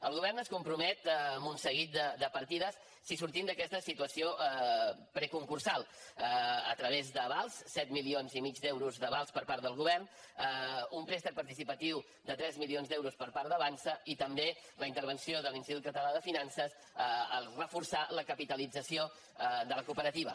el govern es compromet amb un seguit de partides si sortim d’aquesta situació preconcursal a través d’avals set milions i mig d’euros d’avals per part del govern un préstec participatiu de tres milions d’euros per part d’avançsa i també la intervenció de l’institut català de finances al reforçar la capitalització de la cooperativa